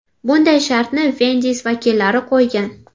Bunday shartni Wendy’s vakillari qo‘ygan.